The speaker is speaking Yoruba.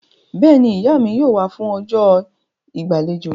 Bẹ́ẹ̀ni, Ìyá mi yóò wá fún ọjọ́ ìgbàlejò